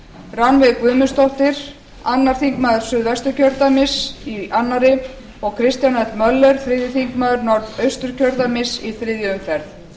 rannveig guðmundsdóttir annar þingmaður suðvesturkjördæmis í annarri og kristján l möller þriðji þingmaður norðausturkjördæmis í þriðju umferð